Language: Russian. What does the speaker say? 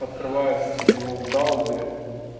открывают его в браузере